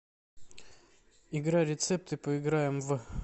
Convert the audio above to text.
игра рецепты поиграем в